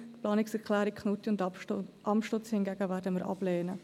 Die Planungserklärung Knutti und Amstutz hingegen werden wir ablehnen.